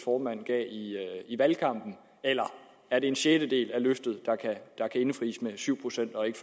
formand gav i valgkampen eller er det en sjettedel af løftet der kan indfries med syv procent og ikke